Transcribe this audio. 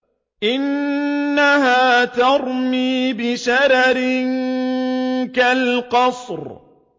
إِنَّهَا تَرْمِي بِشَرَرٍ كَالْقَصْرِ